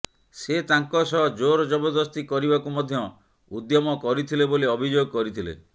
ସେ ତାଙ୍କ ସହ ଜୋର ଜବରଦସ୍ତି କରିବାକୁ ମଧ୍ୟ ଉଦ୍ୟମ କରିଥିଲେ ବୋଲି ଅଭିଯୋଗ କରିଥିଲେ